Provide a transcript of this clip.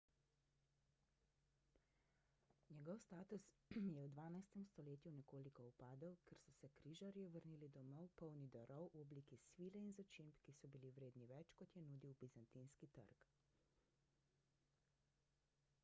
njegov status je v dvanajstem stoletju nekoliko upadel ker so se križarji vrnili domov polni darov v obliki svile in začimb ki so bili vredni več kot je nudil bizantinski trg